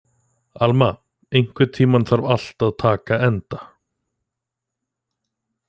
Alma, einhvern tímann þarf allt að taka enda.